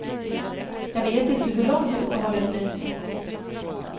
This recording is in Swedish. Jag vet inte hur långt uppehållet blir.